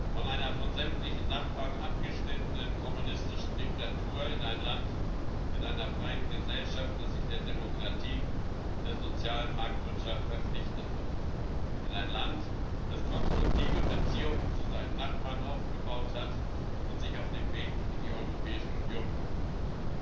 Von einer von sämtlichen Nachbarn abgeschnittenen kommunistischen Diktatur in ein Land mit einer freien Gesellschaft, das sich der Demokratie und der sozialen Marktwirtschaft verpflichtet hat, in ein Land, das konstruktive Beziehungen zu seinen Nachbarn aufgebaut hat und sich auf dem Weg in die Europäische Union befindet.